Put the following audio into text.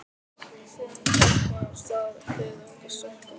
Þetta er enginn myndlistarskóli, stúlka mín sagði Högni ískaldri röddu.